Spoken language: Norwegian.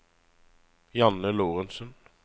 Janne Lorentzen